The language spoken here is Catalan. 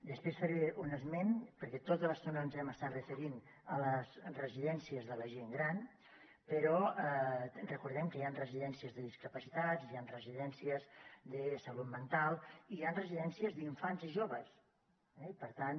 després hi faré un esment perquè tota l’estona ens hem estat referint a les residències de la gent gran però recordem que hi han residències de discapacitats hi han residències de salut mental i hi han residències d’infants i joves eh i per tant